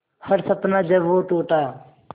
हर सपना जब वो टूटा